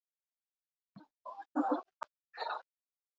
Yfirleitt er töluvert meira nikkel í fæðutegundum úr jurtaríkinu en dýraríkinu.